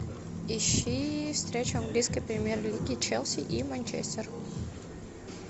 ищи встречу английской премьер лиги челси и манчестер